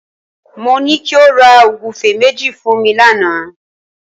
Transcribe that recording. Mo ní kí o ra ògúfe méjì fún mi lánàá